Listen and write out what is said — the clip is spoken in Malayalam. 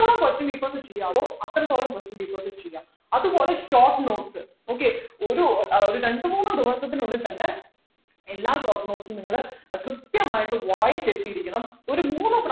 ത്തോളം question papers ചെയ്യാവോ അത്രത്തോളം question papers ചെയ്യാ അതുപോലെ short notes okay ഒരു ആഹ് ഒരു രണ്ടുമൂന്നു ദിവസത്തിനുള്ളിൽ തന്നെ എല്ലാ short notes ഉം നിങ്ങൾ ഏർ കൃത്യമായിട്ട് വായിച്ചിട്ട് ഇരിക്കണം ഒരു മൂന്ന്